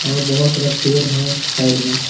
और बहुत सारा पेड़ है साइड में।